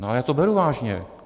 Ale já to beru vážně.